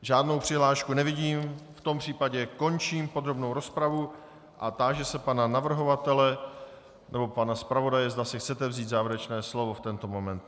Žádnou přihlášku nevidím, v tom případě končím podrobnou rozpravu a táži se pana navrhovatele nebo pana zpravodaje, zda si chcete vzít závěrečné slovo v tento moment.